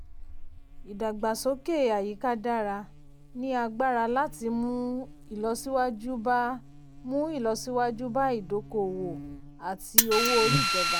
ìdàgbàsókè àyíká dára ní agbára láti mú ìlọsíwájú bá mú ìlọsíwájú bá ìdókòwò àti owó-orí ìjọba.